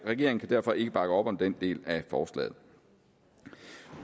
regeringen kan derfor ikke bakke op om den del af forslaget